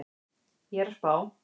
Ég er að spá.